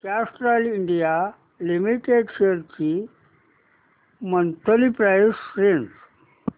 Castrol India limited shares ची monthly price range